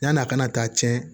Yann'a ka na taa tiɲɛ